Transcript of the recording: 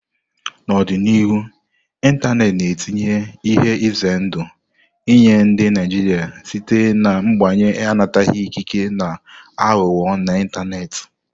N'ọdịnihu, ịntanetị na-etinye ihe ize ndụ nye ndị Naijiria site na mbanye anataghị ikike na aghụghọ n'ịntanetị,.